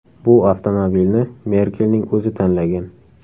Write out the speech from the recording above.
Bu avtomobilni Merkelning o‘zi tanlagan.